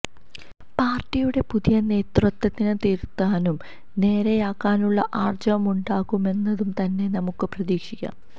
പാര്ട്ടിയുടെ പുതിയ നേതൃത്വത്തിന് തിരുത്താനും നേരെയാക്കാനുമുള്ള ആര്ജവമുണ്ടാകുമെന്നു തന്നെ നമുക്കു പ്രതീക്ഷിക്കാം